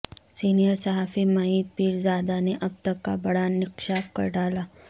senior صحافی معید پیرزادہ نے اب تک کا بڑا نکشاف کر ڈالا